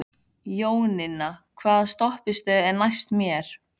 Jóninna, hvaða stoppistöð er næst mér?